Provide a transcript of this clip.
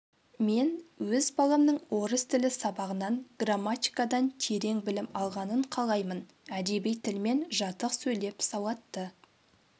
мен өз баламның орыс тілі сабағынан грамматикадан терең білім алғанын қалаймын әдеби тілмен жатық сөйлеп сауатты